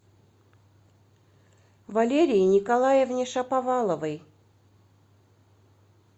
валерии николаевне шаповаловой